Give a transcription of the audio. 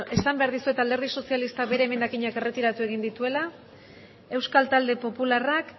beno esan behar dizuet alderdi sozialistak bere emendakinak erretiratu egin dituela euskal talde popularrak